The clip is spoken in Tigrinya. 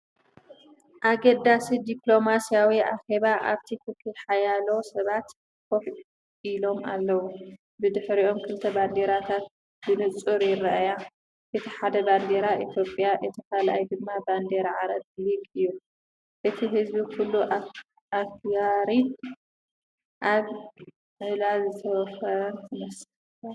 ኣገዳሲ ዲፕሎማስያዊ ኣኼባ! ኣብቲ ክፍሊ ሓያሎ ሰባት ኮፍ ኢሎም ኣለዉ። ብድሕሪኦም ክልተ ባንዴራታት ብንጹር ይረኣያ። እቲ ሓደ ባንዴራ ኢትዮጵያ እቲ ካልኣይ ድማ ባንዴራ ዓረብ ሊግ እዩ። እቲ ህዝቢ ኩሉ ኣኽባሪን ኣብ ዕላል ዝተዋፈረን ይመስል።